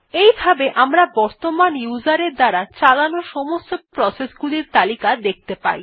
এই ভাবে আমরা বর্তমান উসের এর দ্বারা চালানো সমস্ত প্রসেস গুলির তালিকা দেখতে পাই